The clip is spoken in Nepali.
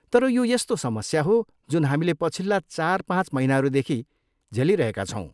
तर यो यस्तो समस्या हो जुन हामीले पछिल्ला चार पाँच महिनाहरूदेखि झेलिरहेका छौँ।